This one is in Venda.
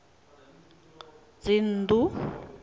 dzinnḓu